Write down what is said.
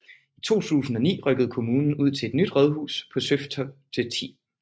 I 2009 rykkede kommunen ud til et nyt rådhus på Søtofte 10